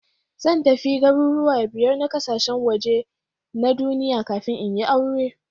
Zan tafi garuruwa biyar na kasashen waje na duniya kafin in yi aure.